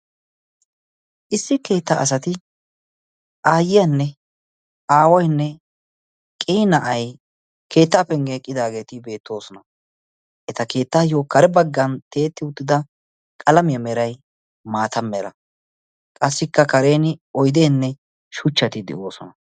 Issi keettaa asati aayyiyanne aaway qii na'ay keettaa penggen eqqidaageti beettoosona. eta keettaayoo kare baggan tiyetti uttida qalamiyaa meray maata mera. qassikka karen oydeenne shuchchati de'oosona.